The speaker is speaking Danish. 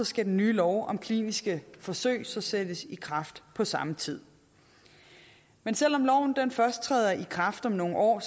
skal den nye lov om kliniske forsøg sættes i kraft på samme tid men selv om loven først træder i kraft om nogle år